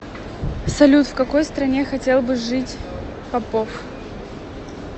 салют в какой стране хотел бы жить попов